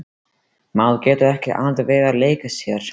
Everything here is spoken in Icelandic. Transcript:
Maður getur ekki alltaf verið að leika sér.